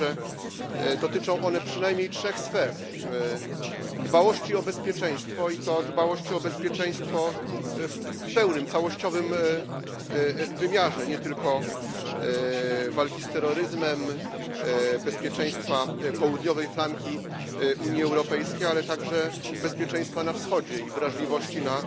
Myślę, że dotyczą one przynajmniej trzech sfer dbałości o bezpieczeństwo, i to dbałości o bezpieczeństwo w pełnym, całościowym wymiarze, nie tylko walki z terroryzmem, bezpieczeństwa południowej flanki Unii Europejskiej, ale także bezpieczeństwa na Wschodzie i wrażliwości na